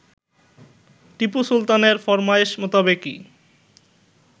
টিপু সুলতানের ফরমায়েশ মোতাবেকই